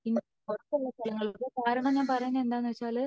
ഇന്ത്യക്ക് പുറത്തുള്ള സ്ഥലങ്ങളിൽ പോവാൻ കാരണം ഞാൻ പറയുന്നത് എന്താണ് വച്ച